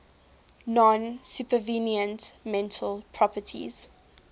non supervenient mental properties